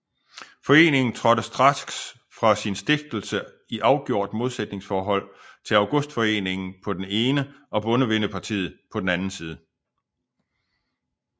Foreningen trådte straks fra sin stiftelse i afgjort modsætningsforhold til Augustforeningen på den ene og Bondevennepartiet på den anden side